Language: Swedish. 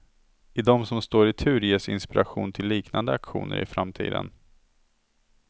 Och de som står i tur ges inspiration till liknande aktioner i framtiden.